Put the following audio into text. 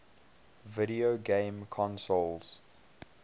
video game consoles